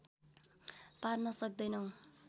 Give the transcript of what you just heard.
पार्न सक्दैनौ